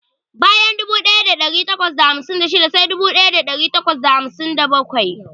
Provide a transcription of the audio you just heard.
Bayan dubu daya dari takwas da hamsin da shida sai dubu daya dari takwas da hamsin da bakwai.